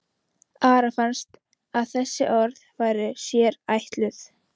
Ara fannst að þessi orð væru sér ætluð.